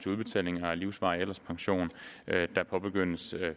udbetalingen af livsvarig alderspension der påbegyndes